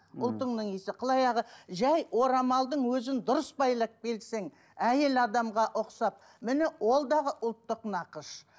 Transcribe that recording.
ұлтыңның иісі қыл аяғы жай орамалдың өзін дұрыс байлап келсең әйел адамға ұқсап міне ол дағы ұлттық нақыш